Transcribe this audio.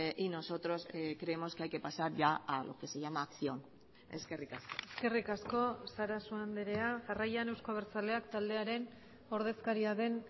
y nosotros creemos que hay que pasar ya a lo que se llama acción eskerrik asko eskerrik asko sarasua andrea jarraian euzko abertzaleak taldearen ordezkaria den